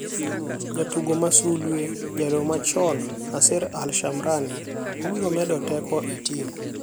Jatugo ma sulwe: Jaloyo machon Nasser Al Shamrani obiro medo teko e tim.